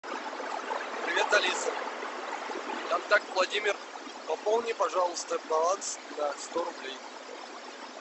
привет алиса контакт владимир пополни пожалуйста баланс на сто рублей